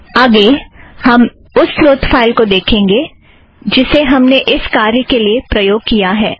अगला हम उस स्रोत फ़ाइल को देखेंगे जिसे हमने इस कार्य के लिए प्रयोग किया है